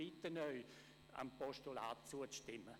Ich bitte Sie, einem Postulat zuzustimmen.